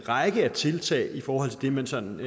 række tiltag i forhold til det man sådan